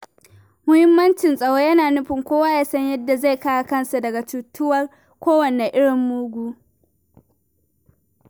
Muhimmancin tsaro yana nufin kowa ya san yadda zai kare kansa daga cutarwar kowane irin mugu.